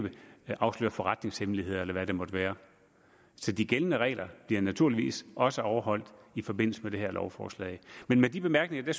afslører forretningshemmeligheder eller hvad der måtte være så de gældende regler bliver naturligvis også overholdt i forbindelse med det her lovforslag med de bemærkninger vil